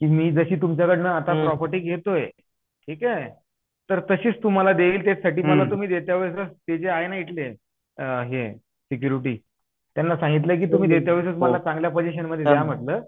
नाही मे त्यांना काय सांगितलय त्यांना काय सांगितलय मी की मी जशी तुमच्या कडन आता पर्यत प्रोपरटी घेतोय ठीक हे तर तशीच तुम्हाला देईन त्याचसाठी मला तुम्ही देत्या वेळेस तेजे आहे ना इथले हे सिक्योरिटी त्यांना सांगितलं तुम्ही देत्या वेळेसच मला चांगल्या पोजेषण मध्ये द्या म्हंटल